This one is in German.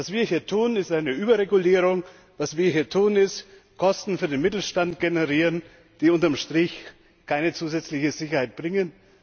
Was wir hier tun, ist eine Überregulierung, was wir hier tun, ist, dass wir Kosten für den Mittelstand generieren, die unter dem Strich keine zusätzliche Sicherheit bringen.